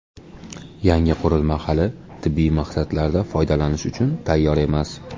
Yangi qurilma hali tibbiy maqsadlarda foydalanish uchun tayyor emas.